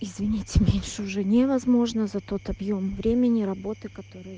извините меньше уже невозможно за тот объём времени работы который